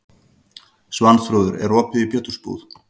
Svanþrúður, er opið í Pétursbúð?